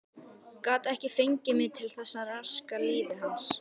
Gat ekki fengið mig til þess að raska lífi hans.